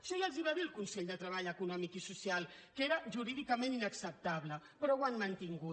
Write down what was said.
això ja els ho va dir el consell de treball econòmic i social que era jurídicament inacceptable però ho han mantingut